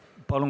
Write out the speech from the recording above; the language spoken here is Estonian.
Palun!